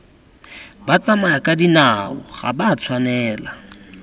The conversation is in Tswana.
batsamayakadinao ga ba a tshwanela